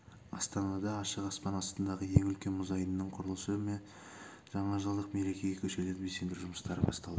астанада ашық аспан астындағы ең үлкен мұз айдынының құрылысы мен жаңажылдық мерекеге көшелерді безендіру жұмыстары басталды